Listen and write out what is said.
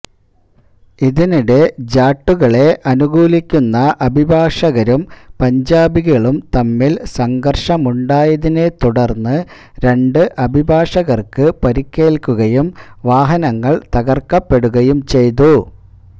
ഇതിനിടെ ജാട്ടുകളെ അനുകൂലിക്കുന്ന അഭിഭാഷകരും പഞ്ചാബികളും തമ്മില് സംഘര്ഷമുണ്ടായതിനെ തുടര്ന്ന് രണ്ടു അഭിഭാഷകര്ക്ക് പരിക്കേല്ക്കുകയും വാഹനങ്ങള് തകര്ക്കപ്പെടുകയും ചെയ്തു